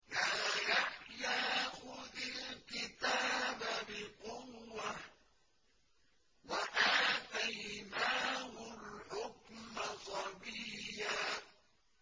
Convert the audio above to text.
يَا يَحْيَىٰ خُذِ الْكِتَابَ بِقُوَّةٍ ۖ وَآتَيْنَاهُ الْحُكْمَ صَبِيًّا